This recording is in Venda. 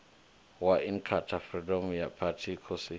wa inkatha freedom party khosi